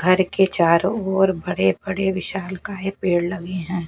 घर के चारों ओर बड़े बड़े विशालकाय पेड़ लगे है।